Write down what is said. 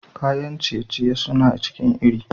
Kayan ciye-ciye suna cikin iri.